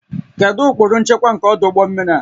Kedu ụkpụrụ nchekwa nke ọdụ ụgbọ mmiri a?